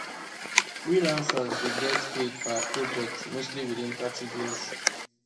freelancers dey get paid per project mostly within thirty days